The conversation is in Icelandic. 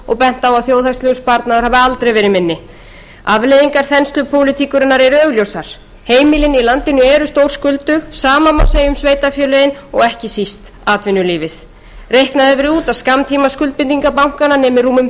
að þjóðhagslegur sparnaður hafi aldrei verið minni afleiðingar þenslupólitíkurinnar eru augljósar heimilin í landinu eru stórskuldug það sama má segja um sveitarfélögin og ekki síst atvinnulífið reiknað hefur verið út að skammtímaskuldbindingar bankanna nemi tæplega þrjú